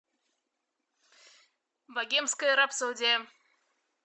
богемская рапсодия